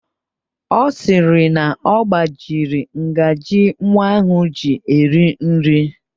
Ọ sịrị na ọ gbajiri ngaji nwa ahụ ji eri nri